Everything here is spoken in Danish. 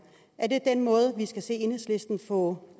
er det den måde vi skal se enhedslisten få